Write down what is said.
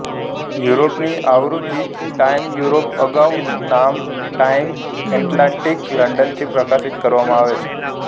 યુરોપની આવૃત્તિ Time Europe અગાઉનું નામ ટાઇમ એટલાન્ટિક લંડનથી પ્રકાશિત કરવામાં આવે છે